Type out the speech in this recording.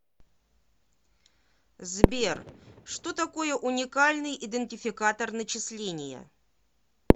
сбер что такое уникальный идентификатор начисления